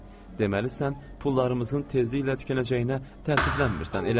Deməli sən pullarımızın tezliklə tükənəcəyinə təəssüflənmirsən, elədir?